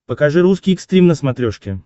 покажи русский экстрим на смотрешке